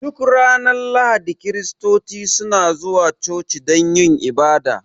Duk ranar Lahadi Kiristoci suna zuwa coci don yin ibada